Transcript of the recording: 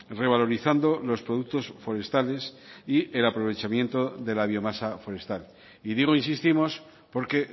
revalorizando los productos forestales y el aprovechamiento de la biomasa forestal y digo insistimos porque